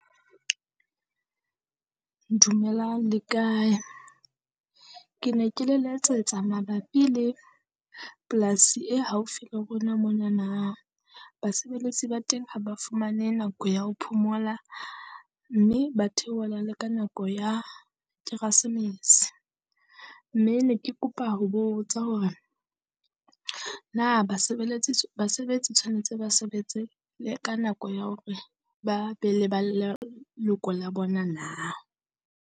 Dumelang le kae? Ke ne ke le letsetsa mabapi le plaas-i e haufi le rona monana, basebeletsi ba teng ha ba fumane nako ya ho phomola, mme ba theohela le ka nako ya kerasemese. Mme ne ke kopa ho botsa hore na basebeletsi, basebetsi tshwanetse ba sebetse ka nako ya hore ba be le ba leloko la bona na?